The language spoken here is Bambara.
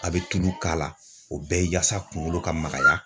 A be tulu k'a la o bɛɛ ye yasa kungolo ka magaya